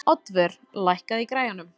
Oddvör, lækkaðu í græjunum.